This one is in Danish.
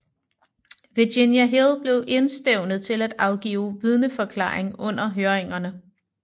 Virginia Hill blev indstævnt til at afgive vidneforklaring under høringerne